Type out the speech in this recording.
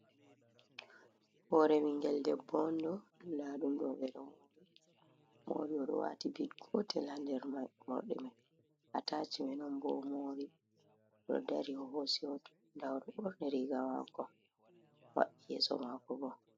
Hore ɓingel l debbo on ɗo, nda ɗum ɗo ɓedo mori o wati bid gotel ha der mordi mai a tacime on bo o mori ɗo dari o hosi hoto nda borni riga mako maɓɓi yeso mako bo.